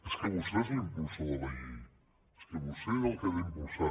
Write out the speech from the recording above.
és que vostè és l’impulsor de la llei és que vostè és el que l’ha d’impulsar